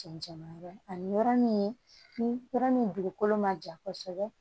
Cɛncɛn yɔrɔ ani yɔrɔ min ni yɔrɔ min dugukolo ma ja kosɛbɛ